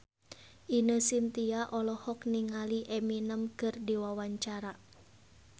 Ine Shintya olohok ningali Eminem keur diwawancara